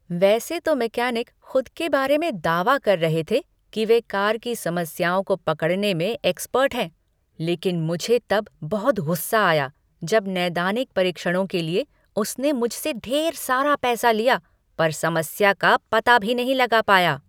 वैसे तो मैकेनिक खुद के बारे में दावा कर रहे थे कि वे कार की समस्याओं को पकड़ने में एक्सपर्ट हैं, लेकिन मुझे तब बहुत गुस्सा आया जब 'नैदानिक परीक्षणों' के लिए उसने मुझसे ढेर सारा पैसा लिया पर समस्या का पता भी नहीं लगा पाया।